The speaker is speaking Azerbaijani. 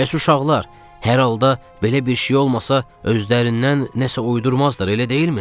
Bəs uşaqlar hər halda belə bir şey olmasa özlərindən nəsə uydurmazlar, elə deyilmi?